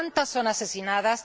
¿Cuántas son asesinadas?